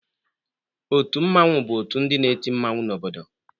Otu mmanwụ bụ otu ndị na-eti mmanwụ n'obodo.